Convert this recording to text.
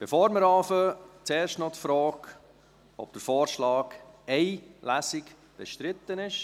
Bevor wir anfangen, zuerst noch die Frage, ob der Vorschlag einer Lesung bestritten ist.